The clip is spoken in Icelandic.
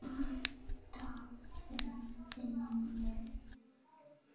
Vantaði þeim vinnu?